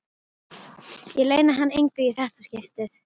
Ég leyni hann engu í þetta skipti.